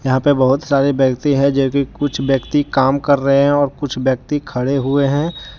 यहां पे बहुत सारे व्यक्ति है जो कि कुछ व्यक्ति काम कर रहे हैं और कुछ व्यक्ति खड़े हुए हैं।